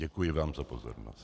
Děkuji vám za pozornost.